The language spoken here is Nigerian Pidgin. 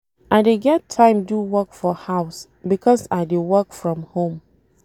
I dey get time do work for house because I dey work from home.